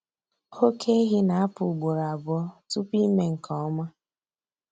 oke ehi na-apụ ugboro abụọ tupu ime nke ọma.